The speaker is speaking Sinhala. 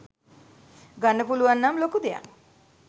ගන්න පුලුවන් නම් ලොකු දෙයක්.